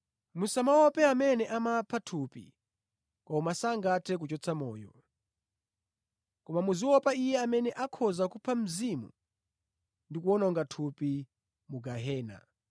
Musamaope amene amapha thupi koma sangathe kuchotsa moyo. Koma muziopa Iye amene akhoza kupha mzimu ndi kuwononga thupi mu gehena.